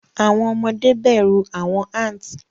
Awọn ọmọde bẹru awọn ants